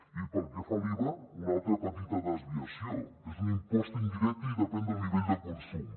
i pel que fa a l’iva una altra petita desviació és un impost indirecte i depèn del nivell de consum